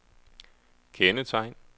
kendetegn